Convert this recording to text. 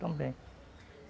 Também.